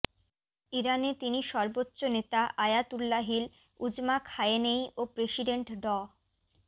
ইরানে তিনি সর্বোচ্চ নেতা আয়াতুল্লাহিল উজমা খামেনেয়ি ও প্রেসিডেন্ট ড